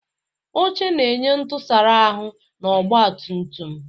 Oche na-enye ntusara ahu na ọgba tum tum.